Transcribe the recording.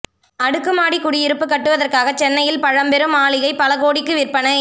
அடுக்குமாடி குடியிருப்பு கட்டுவதற்காக சென்னையின் பழம்பெரும் மாளிகை பல கோடிக்கு விற்பனை